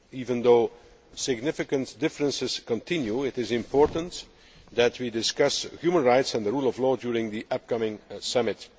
Even though significant differences continue, it is important that we discuss human rights and the rule of law during the upcoming summit.